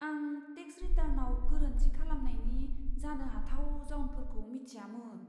आं टेक्स रिटार्नाव गोरोन्थि खालामनायनि जानो हाथाव जाउनफोरखौ मिथियामोन।